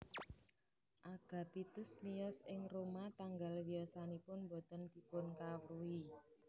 Agapitus miyos ing Roma tanggal wiyosanipun boten dipunkawruhi